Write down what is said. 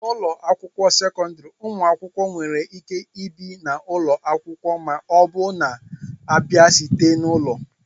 n'ụlọ akwụkwọ sekọndrị, ụmụ akwụkwọ nwere ike ibi na ụlọ akwụkwọ ma ọ bụ na-abịa site n'ụlọ